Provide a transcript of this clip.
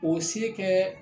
O se kɛ